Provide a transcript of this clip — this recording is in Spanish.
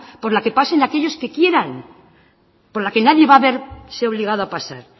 por la que pasen aquellos que quieran por la que nadie va a verse obligado a pasar